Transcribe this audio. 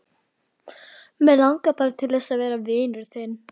Mig langar bara til þess að verða vinur þinn.